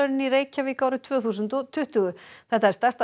í Reykjavík árið tvö þúsund og tuttugu þetta eru stærsta